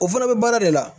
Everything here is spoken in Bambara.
O fana bɛ baara de la